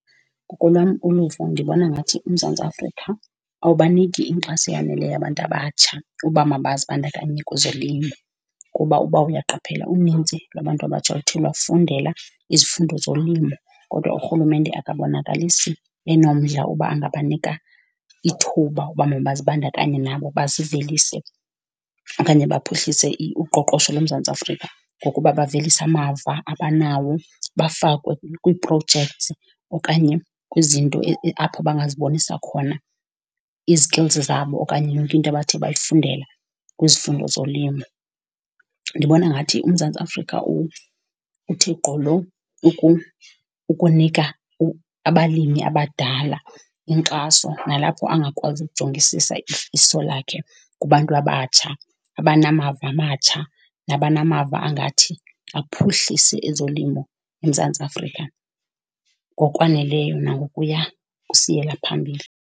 Ngokolwam uluvo ndibona ngathi uMzantsi Afrika awubaniki inkxaso eyaneleyo abantu abatsha uba mabaye zibandakanye kwezolimo. Kuba uba uyaqaphela unintsi lwabantu abatsha oluthe lwafundela izifundo zolimo kodwa urhulumente akabonakalisi enomdla uba angabanika ithuba uba mazibandakanye nabo bazivelise. Okanye baphuhlise uqoqosho loMzantsi Afrika ngokuba bavelise amava abanawo, bafakwe kwii-projects okanye kwizinto apho bangazibonisa khona izi-skills zabo okanye yonke into abathe bayifundela kwizifundo zolimo. Ndibona ngathi uMzantsi Afrika uthe gqolo ukunika abalimi abadala inkxaso nalapho angakwazi kujongisisa iso lakhe kubantu abatsha abanamava amatsha nabanamava angathi aphuhlise ezolimo eMzantsi Afrika ngokwaneleyo nangokuya kusiyela phambili.